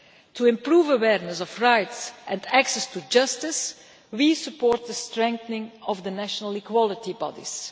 To improve awareness of rights and access to justice, we support the strengthening of the national equality bodies.